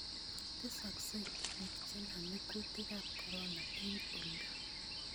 Tesaksei biik chename kuutikab korona eng oldo